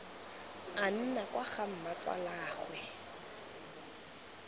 a nna kwa ga mmatsalaagwe